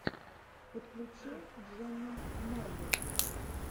подключи дженну марблс